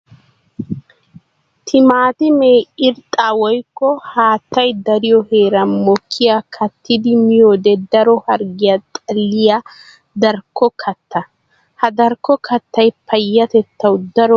Timaattime irxxa woykko haattay dariyo heeran mokkiya kattiddi miyoode daro harggiya xalliya darkko katta. Ha darkko kattay payyatettawu daro go'a immees.